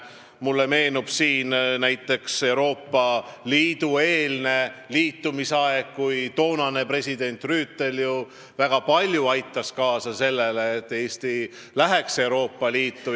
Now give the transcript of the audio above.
Mulle meenub Euroopa Liiduga liitumise eelne aeg, kui president Rüütel aitas väga palju kaasa, et Eesti astuks Euroopa Liitu.